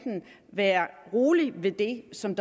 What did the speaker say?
være rolig ved det som